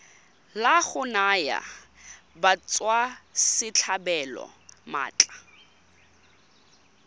la go naya batswasetlhabelo maatla